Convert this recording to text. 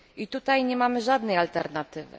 Tutaj nie mamy żadnej alternatywy.